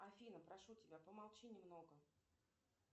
афина прошу тебя помолчи немного